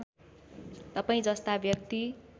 तपाईँ जस्ता व्यक्ति